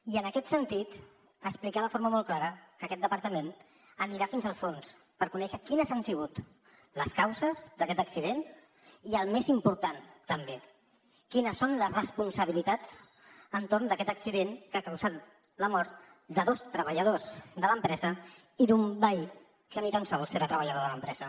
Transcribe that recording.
i en aquest sentit explicar de forma molt clara que aquest departament anirà fins al fons per conèixer quines han sigut les causes d’aquest accident i el més important també quines són les responsabilitats entorn d’aquest accident que ha causat la mort de dos treballadors de l’empresa i d’un veí que ni tan sols era treballador de l’empresa